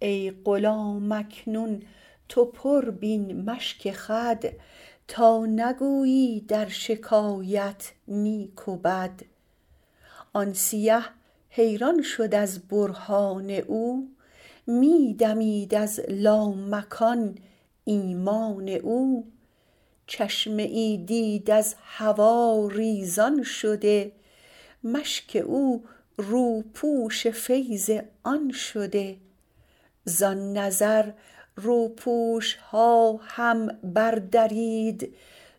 ای غلام اکنون تو پر بین مشک خود تا نگویی درشکایت نیک و بد آن سیه حیران شد از برهان او می دمید از لامکان ایمان او چشمه ای دید از هوا ریزان شده مشک او روپوش فیض آن شده زان نظر روپوشها هم بر درید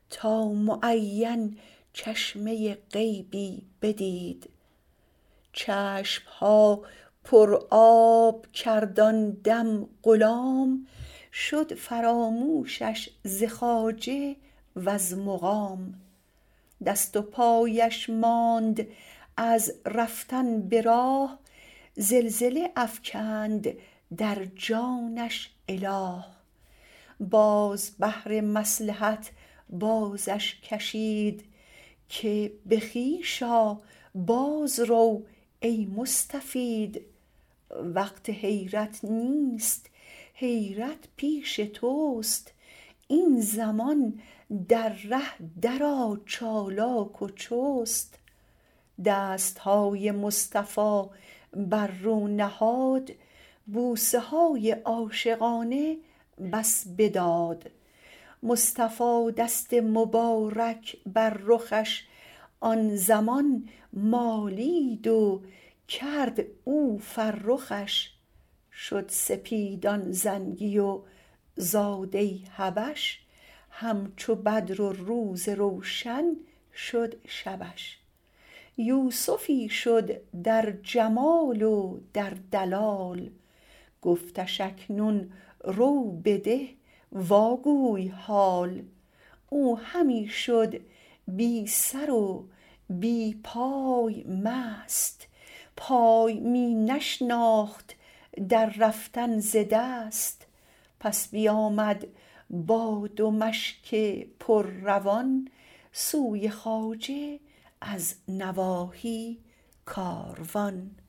تا معین چشمه غیبی بدید چشمها پر آب کرد آن دم غلام شد فراموشش ز خواجه وز مقام دست و پایش ماند از رفتن به راه زلزله افکند در جانش اله باز بهر مصلحت بازش کشید که به خویش آ باز رو ای مستفید وقت حیرت نیست حیرت پیش تست این زمان در ره در آ چالاک و چست دستهای مصطفی بر رو نهاد بوسه های عاشقانه بس بداد مصطفی دست مبارک بر رخش آن زمان مالید و کرد او فرخش شد سپید آن زنگی و زاده حبش همچو بدر و روز روشن شد شبش یوسفی شد در جمال و در دلال گفتش اکنون رو بده وا گوی حال او همی شد بی سر و بی پای مست پای می نشناخت در رفتن ز دست پس بیامد با دو مشک پر روان سوی خواجه از نواحی کاروان